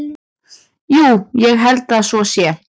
Jú, ég held að svo sé.